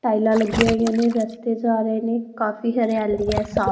ਟਾਇਲਾਂ ਲੱਗੀਆਂ ਹੋਈਆਂ ਨੇ ਰਸਤੇ ਜਾ ਰਹੇ ਨੇ ਕਾਫੀ ਹਰਿਆਲੀ ਆ ਸਾਫ --